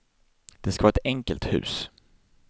Det ska vara ett enkelt hus.